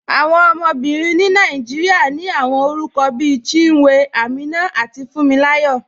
Awọn ọmọbìrín ni Nàìjíríà ní awọn orúkọ̀ bí Chínwé, Àmínà, tàbí Fúǹmíláyọ̀.